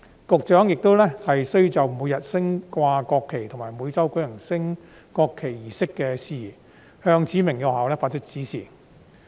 局長亦須就每日升掛國旗及每周舉行升國旗儀式的事宜向指明的學校發出指示。